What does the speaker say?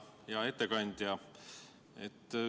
Hea ettekandja!